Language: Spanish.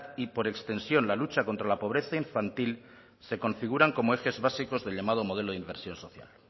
y por extensión la lucha contra la pobreza infantil se configuran como ejes básicos del llamado modelo de inversión social